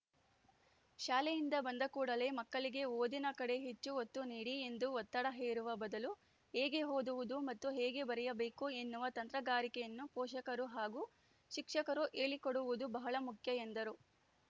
ಶಾಲೆಯಿಂದ ಬಂದ ಕೂಡಲೇ ಮಕ್ಕಳಿಗೆ ಓದಿನ ಕಡೆ ಹೆಚ್ಚು ಒತ್ತು ನೀಡಿ ಎಂದು ಒತ್ತಡ ಹೇರುವ ಬದಲು ಹೇಗೆ ಓದುವುದು ಮತ್ತು ಹೇಗೆ ಬರೆಯಬೇಕು ಎನ್ನುವ ತಂತ್ರಗಾರಿಕೆಯನ್ನು ಪೋಷಕರು ಹಾಗೂ ಶಿಕ್ಷಕರು ಹೇಳಿಕೊಡುವುದು ಬಹಳ ಮುಖ್ಯ ಎಂದರು